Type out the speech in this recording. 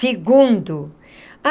Segundo.